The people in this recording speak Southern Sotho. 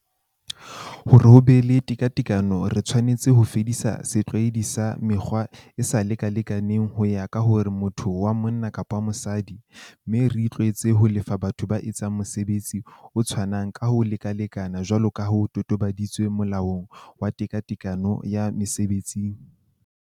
Hore ho be le tekatekano re tshwanetse ho fedisa setlwaedi sa mekgolo e e sa lekalekaneng ho ya ka hore motho ke monna kapa mosadi, mme re itlwaetse ho lefa batho ba entseng mosebetsi o tshwanang ka ho lekalekana jwalo ka ho totobaditswe Molaong wa Tekatekano ya Mese betsing.